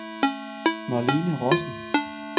Marlene Rossen